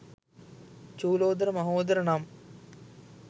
චූලෝදර මහෝදර නම්